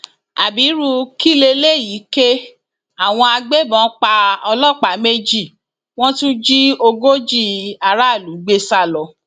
ábírú kí lélẹyìí ké àwọn agbébọn pa ọlọpàá méjì wọn tún jí ogójì aráàlú gbé sá lọ